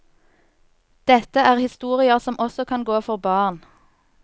Dette er historier som også kan gå for barn.